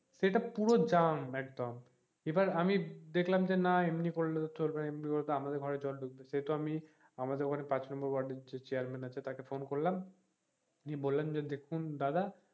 সেটা পুরো জ্যাম একদম এবার আমি দেখলাম যে না এমনি ভেঙে পড়লে তো চলবে না এমনি তো আমাদের ঘরে জল ঢুকবে সে তো আমি আমাদের ঘরের পাঁচ নম্বর ওয়ার্ডের যে চেয়্যারম্যান আছে তাকে ফোন করলাম উনি বললেন যে দেখুন দাদা,